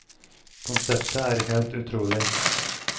Konseptet er helt utrolig.